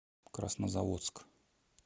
краснозаводск